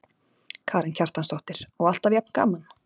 Karen Kjartansdóttir: Og alltaf jafn gaman?